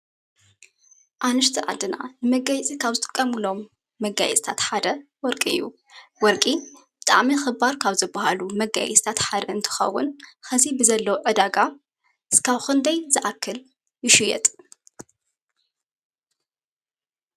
ኣንሽቲ ዓድና መጋየፂ ካብ ዝጥቀምሎም መጋየፂታት ሓደ ወርቂ እዩ። ወርቂ ብጣዕሚ ክባር ካብ ዝበሃሉ ክባር እንትኸውን ከዚ ንዘሎ ዕዳጋ ክሳብ ክንዳይ ዘኣኽል ይሽየጥ ?